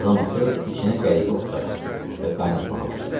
Qazan asıb içinə qəribə otlar atdı və qaynatmağa başladı.